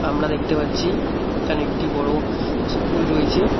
আমরা দেখতে পাচ্ছি এখানে একটি বড় স্কুল রয়েছে।